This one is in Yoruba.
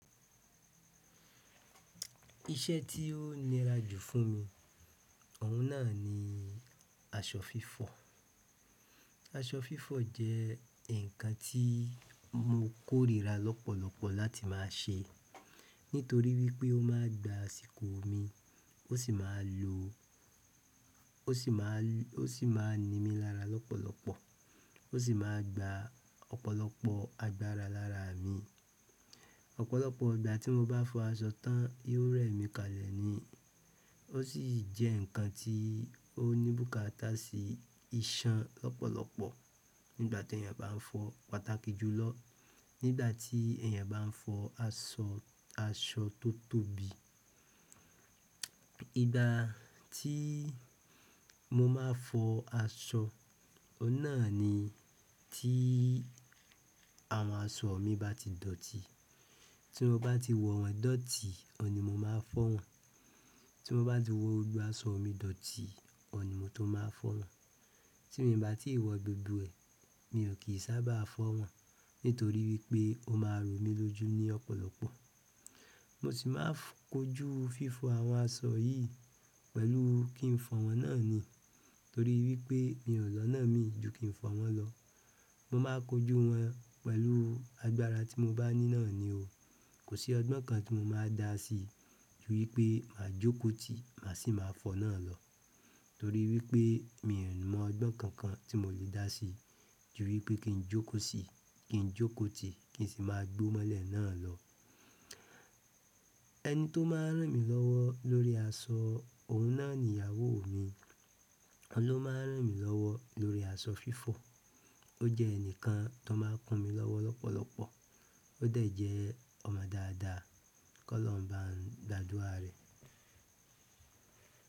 Iṣẹ́ tí ó nira jù fún mi, òun náà ni aṣọ fífọ̀. Aṣọ fífọ̀ jẹ́ ǹkan tí mo kórìíra lọ́pọ̀lọpọ̀ láti má a ṣe, nítorí wípé ó ma gba àsìkò mi, ó sì ma lo ó sì ma ọ́ sì ma ní mi lára lọ́pọ̀lọpọ̀, ó sì ma gba ọ̀pọ̀lọpọ̀ agbára lára mi. Ọ̀pọ̀lọpọ̀ ìgbà ti mo ba fo aṣọ tan yio remi kalẹ̀ ni ó sì jẹ́ ǹkan tí ó ní bùkátà sí iṣan lọ́pọ̀lọpọ̀ nígbà tí èèyàn bá n fọ pàtàkì jù lọ, nígbà tí èèyàn bá n fọ aṣọ, aṣọ tó tóbi. Ìgbà tí mo ma fọ aṣọ, ó náà ni tí àwọn aṣọ mi bá ti dọ̀tí, tí mo bá ti wọ̀ wọ́n dọ̀tí, ọ̀ní mo máa fọ wọn. Tí mo bá ti wọ gbogbo aṣọ mi dọ̀tí, ọ̀ní mo tó máa fọ wọn. Tí mi bá tí wọ gbogbo ẹ̀, mi ò kì í sábà fọ wọn, nítorí wípé ó máa ro mí lójú ní ọ̀pọ̀lọpọ̀. Mo sì máa kojú fífọ àwọn aṣọ yìí pẹ̀lú kí n fọ wọn náà ni. Torí wípé mi o ni ọ̀nà mi ju kin fo won lo. Mo ma kojú wọn pẹ̀lú agbára tí mo bá ní náà ni o. Kò sí ọgbọ́n kan tí mo má a dá sí, ju wípé mà á jóko tì, mà sì máa fọ náà lọ. Torí wípé mi ò mọ ọgbọ́n kankan tí mò lè dá sí, ju wípé kí n jóko sí, kí n jóko tì, kí n sì máa gbó mọ́lẹ̀ náà lọ. Ẹni tó máa ń ràn mí lọ́wọ́ lórí aṣọ, òun náà ni ìyàwó mi. Ọ̀n ló máa ń ràn mí lọ́wọ́ lórí aṣọ fífọ̀. Ó jẹ́ ẹnìkan tó máa ń kún mi lọ́wọ́ lọ́pọ̀lọpọ̀. O de je ọmọ daada ki ọlọ́run ba n gbàdúrà re.